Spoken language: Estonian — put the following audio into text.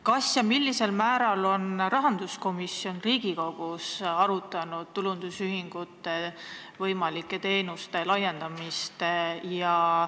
Kas ja millisel määral on rahanduskomisjon Riigikogus arutanud tulundusühistute teenuste laiendamist?